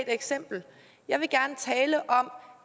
eksempel jeg vil gerne tale om